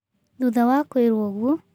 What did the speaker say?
Thutha wa kwĩrwo ũguo.